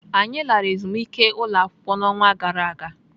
Anyị lara ezumike ụlọakwụkwọ n'ọnwa gara aga.